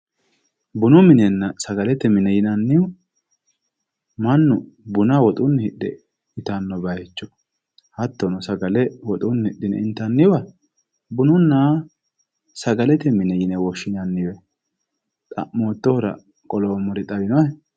Bunu minenna sagalete mine yinnannihu mannu buna woxunni hidhe ittano bayicho hattono sagale woxunni hidhine intanniwa bununna sagalete mine yine woshshinanni xa'mottohura ku'lommoheti xawinohe.